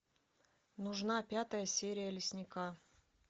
нужна пятая серия лесника